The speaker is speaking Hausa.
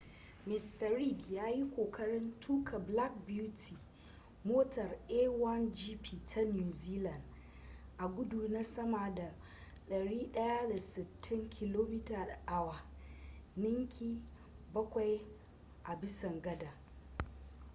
mista reid ya yi kokarin tuka black beauty motar a1gp ta new zealand a gudu na sama da 160km / h ninki bakwai a bisa gadan